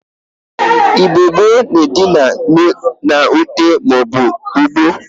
Igbo gbo na Edina na Ute ma obu ugbo.